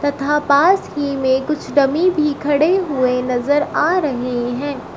तथा पास ही में कुछ डमी भी खड़े हुए नजर आ रहे हैं।